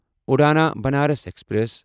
اوڑھنا Banaras express